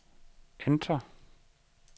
enter